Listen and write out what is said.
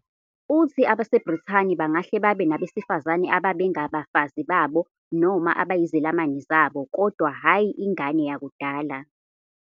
Uthi abaseBrithani bangahle babe nabesifazane abebengabafazi babo noma abeyizelamani zabo, kodwa hhayi "ingane yakudala".